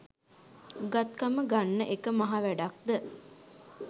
උගත්කම ගන්න එක මහ වැඩක්ද?